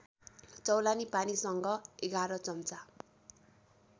चौलानि पानीसँग ११ चम्चा